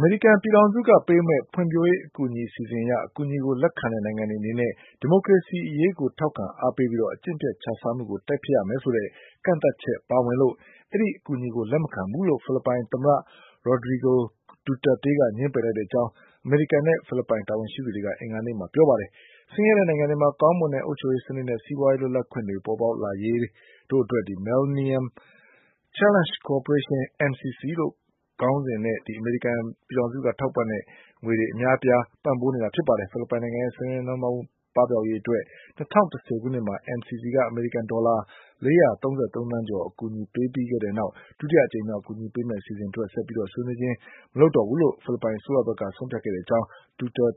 မေရိကန်ပြည်ထောင်စုက ပေးမယ့် ဖွံ့ဖြိုးရေးအကူအညီ အစီအစဉ်အရ အကူအညီကို လက်ခံတဲ့ နိုင်ငံတွေအနေနဲ့ ဒီမိုကရေစီအရေးကို ထောက်ခံအားပေးပြီး အကျင့်ပျက် ခြစားမှုကို တိုက်ဖျက်ရမယ်ဆိုတဲ့ ကန့်သတ်ချက် ပါဝင်တာကြောင့် အဲဒီ အကူအညီကို လက်မခံဘူးလို့ ဖိလစ်ပိုင်သမ္မတ Rodrigo Duterte က ငြင်းပယ်လိုက်ကြောင်း အမေရိကန်နဲ့ ဖိလစ်ပိုင် တာဝန်ရှိသူတွေက အင်္ဂါနေ့မှာ ပြောပါတယ်။ ဆင်းရဲတဲ့နိုင်ငံတွေမှာ ကောင်းမွန်တဲ့ အုပ်ချုပ်ရေးစနစ်နဲ့ စီးပွားရေး လွတ်လပ်ခွင့်တွေ ပေါ်ပေါက်လာရေးတို့အတွက် Millennium Challenge Corporation – MCC ဆိုတဲ့ ခေါင်းစဉ်နဲ့ အမေရိကန်ပြည်ထောင်စုက ထောက်ပံ့ငွေတွေ အများအပြား ပံ့ပိုးပေးနေတာ ဖြစ်ပါတယ်။ ဖိလစ်ပိုင်နိုင်ငံရဲ့ ဆင်းရဲနွမ်းပါးမှု ပပျောက်ရေးအတွက် ၂၀၁၀ ခုနှစ်မှာ MCC က အမေရိကန်ဒေါ်လာ ၄၃၃ သန်းကျော် အကူအညီ ပေးခဲ့ပြီးတဲ့နောက် ဒုတိယအကြိမ်မြောက် အကူအညီပေးမယ့် အစီအစဉ်အတွက် ဆက်လက် ဆွေးနွေးခြင်းမပြုဖို့ ဖိလစ်ပိုင်အစိုးရဘက်က ဆုံးဖြတ်ခဲ့ကြောင်း